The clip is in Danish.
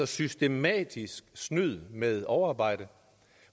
systematisk snyd med overarbejde